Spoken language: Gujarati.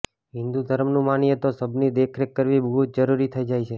હિંદુ ધર્મનું માનીએ તો શબની દેખરેખ કરવી બહું જ જરૂરી થઈ જાય છે